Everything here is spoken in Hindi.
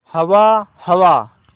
हवा हवा